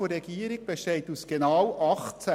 Die Regierungsantwort besteht aus genau 18 Sätzen.